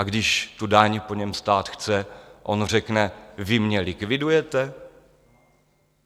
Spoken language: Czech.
A když tu daň po něm stát chce, on řekne: Vy mě likvidujete.